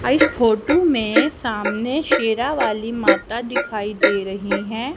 आ इस फोटू में सामने शेरावाली माता दिखाई दे रही है।